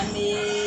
Ani